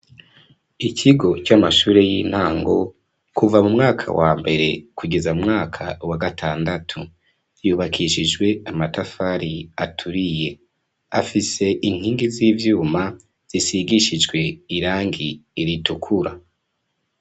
Ikigo c'amashure y'intango, kuva mu mwaka wa mbere kugeza mu mwaka wa gatandatu. Yubakishijwe amatafari aturiye afise inkingi z'ivyuma zisigishijwe irangi ritukura.